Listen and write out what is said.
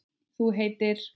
Þú heitir?